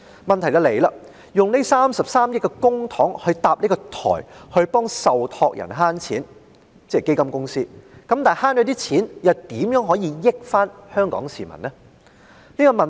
問題是，以33億元的公帑建設電子平台來為受託人——即基金公司——節省金錢，但省下的款項如何令香港市民受惠？